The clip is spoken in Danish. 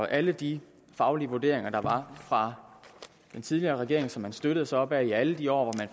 alle de faglige vurderinger der var fra den tidligere regering som man støttede sig op af i alle de år hvor